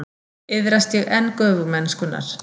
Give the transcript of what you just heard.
Iðrast ég enn göfugmennskunnar.